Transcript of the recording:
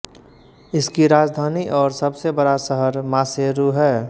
इसकी राजधानी और सबसे बड़ा शहर मासेरू है